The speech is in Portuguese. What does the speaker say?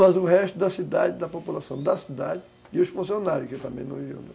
Mas o resto da cidade, da população da cidade e os funcionários, que também não viviam.